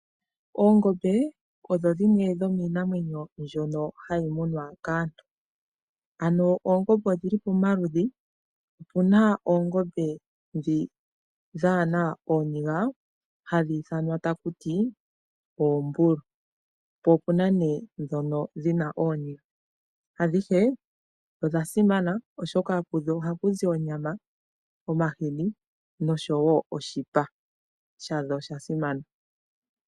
Oongombe odho dhimwe dhoomwinamwenyo ndjono hayi munwa kaantu. Ano oongombe odhi li pomaludhi opuna oongombe dhi dhaana ooniga hadhi ithanwa ta ku ti oombulu mpo opuna ne dhono dhina ooniga. Adhihe odha simana oshoka ku dho oha ku zi onyama, omahini noshowo oshipa sha dho osha simana.